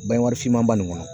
finmanba min kɔnɔ